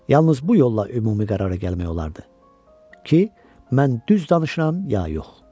Yalnız bu yolla ümumi qərara gəlmək olardı ki, mən düz danışıram ya yox?